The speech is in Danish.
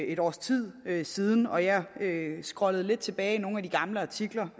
et års tid siden og jeg scrollede lidt tilbage i nogle af de gamle artikler